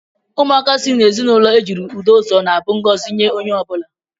Ụmụaka si n'ezinụlọ ejiri udo zụọ na-abụ ngọzi nye onye ọ bụla.